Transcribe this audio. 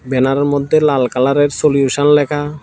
ব্যানারের মধ্যে লাল কালারের সলিউশন লেখা।